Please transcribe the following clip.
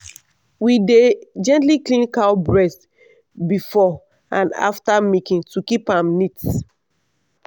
we dey gently clean cow breast before and after milking to keep am neat.